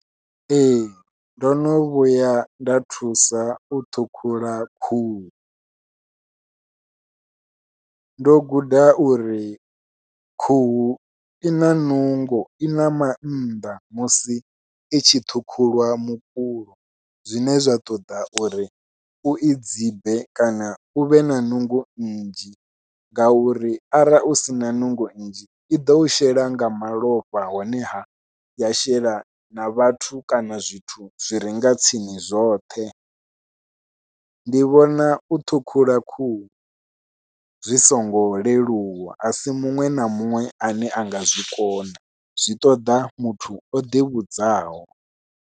Ee ndo no vhuya nda thusa u ṱhukhula khuhu, ndo guda uri khuhu i na nungo i na mannḓa musi i tshi ṱhukhulwa mukulo zwine zwa ṱoḓa uri ui dzibe kana u vhe na nungo nnzhi ngauri arali u sina nungo nnzhi i ḓo u shela nga malofha honeha ya shela na vhathu kana zwithu zwire nga tsini zwoṱhe, ndi vhona u ṱhukhula khuhu zwi songo leluwa a si muṅwe na muṅwe ane a nga zwi kona zwi ṱoḓa muthu o ḓivhudzaho.